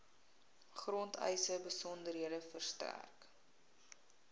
grondeise besonderhede verstrek